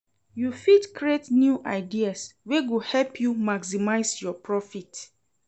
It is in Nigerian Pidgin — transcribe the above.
You fit create new ideas wey go help you maximize your profit.